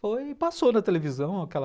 Foi e passou na televisão aquela...